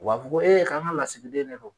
fɔ ko k'an ka lasigiden de don.